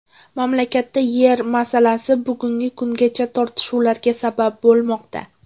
Mamlakatda yer masalasi bugungi kungacha tortishuvlarga sabab bo‘lmoqda.